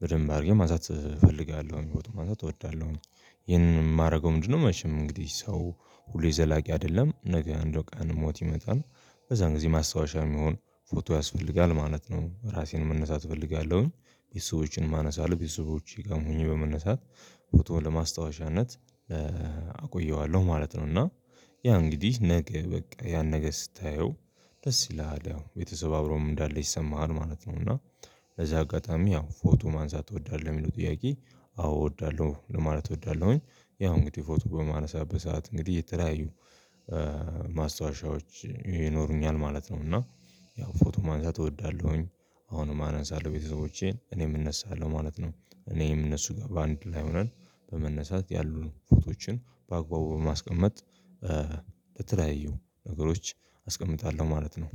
በደንብ አድርጌ ማንሳት እፈልጋለሁ ፎቶ ማንሳት እወዳለሁ። ይሄንን የማረገው ምንድነው? መቼም እንግዲህ ሰው ሁሉ የዘላቂ አይደለም ነገ እንደው ቀን ሞት ይመጣል በዛን ጊዜ ማስታወሻ የሚሆን ፎቶ ያስፈልጋል ማለት ነው። ራሴን መነሳት እፈልጋለሁኝ የሰዎችን ማነሳ ለቤተሰቦቼ ቀሙኝ በመነሳት ፎቶ ለማስታወሻነት አቆየዋለሁ ማለት ነው። እና ያ እንግዲህ ነገ በቃ ያን ነገ ስታየው ደስ ይለሃል ያው ቤተሰብ አብሮም እንዳለ ይሰማሃል ማለት ነው። እና በዚህ አጋጣሚ ያው ፎቶ ማንሳት ትወዳለህ ወይ ለሚለው ጥያቄ? አዎ እወዳለሁ ለማለት እወዳለሁኝ ያው እንግዲህ ፎቶ በማነሳት በሰአት እንግዲህ እየተለያዩ ማስታወሻዎች ይኖሩኛል ማለት ነው። እና ያው ፎቶ ማንሳት እወዳለሁኝ። አሁንም አነንሳለሁ ቤተሰቦቼን እኔም እነሳለሁ ማለት ነው እኔም እነሱ ጋር በአንድ ላይ ሆነን በመነሳት ያሉን ፎቶዎችን በአግባቡ በማስቀመጥ ለተለያዩ ነገሮች አስቀምጣለሁ ማለት ነው።